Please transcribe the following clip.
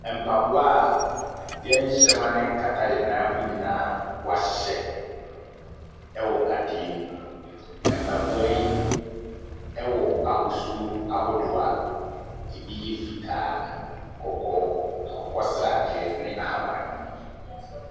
Mpaboa a yɛnhyɛ ma no nkata yɛn nan ho nyinaa a wɔahyehyɛ wɔ adeɛ mu. Mpaboa yi, wɔ ahosu ahodoɔ a ebi yɛ fitaa, kɔkɔɔ, akokɔ sradeɛ ne ahabanmono.